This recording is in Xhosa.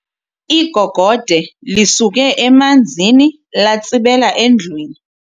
Igogode lisuke emanzini latsibela endlwini.